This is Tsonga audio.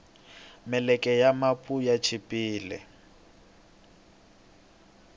meleke ya mapu ya chipile